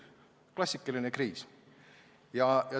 Klassikaline kriis!